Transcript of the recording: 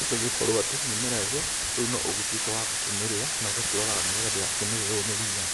ĩgagĩkorwo atĩ mĩmera ĩyo reu no ũgĩtũĩke wa kũmĩrĩa, na ũgakĩroraga nĩgetha ndĩgakĩmererwo nĩ ria.